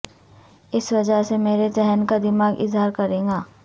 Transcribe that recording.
اس وجہ سے میرے ذہن کا دماغ اظہار کرے گا